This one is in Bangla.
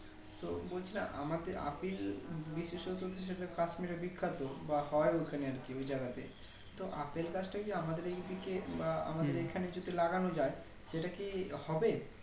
তো বলছিলাম আমাদের আপেল বিশ্বাসতো কিছুটা Kashmir এ বিখ্যাত বা হয় ঐখানে আরকি ওই জায়গাতেই তো আপেল গাছটা কি আমাদের এই দিকে বা আমাদের এই খানে যদি লাগানো যাই সেটাকি হবে